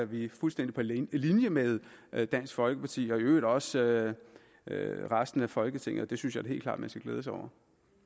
vi fuldstændig på linje med med dansk folkeparti og i øvrigt også med resten af folketinget og det synes jeg da helt klart man skal glæde sig